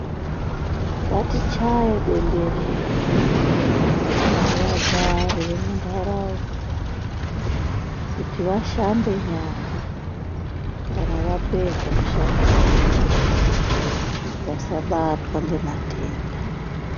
Ngatichaye bemberera, kuvagari vemuntaraunda kuti vashambe nyara kana vapedza kushandisa chimbuzi vasabatwa ngematenda.